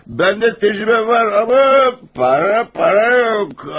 Məndə təcrübə var amma para, para yox.